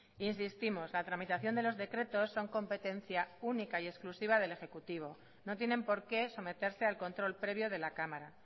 insistimos la tramitación de los decretos son competencia única y exclusiva del ejecutivo no tienen por qué someterse al control previo de la cámara